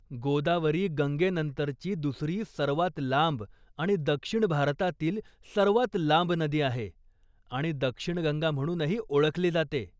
गोदावरी गंगेनंतरची दुसरी सर्वात लांब आणि दक्षिण भारतातील सर्वात लांब नदी आहे आणि 'दक्षिण गंगा' म्हणूनही ओळखली जाते.